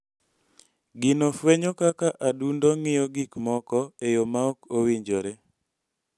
Gino fwenyo kaka adundo ng�iyo gik moko e yo ma ok owinjore.